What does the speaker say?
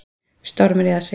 Stormur í aðsigi